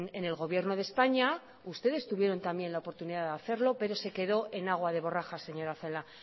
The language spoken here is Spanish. en el gobierno de españa ustedes tuvieron también la oportunidad de hacerlo pero se quedó en agua de borrajas señora celaá